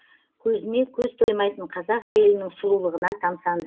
көзіне көз тоймайтын қазақ әйелінің сұлулығына тамсандым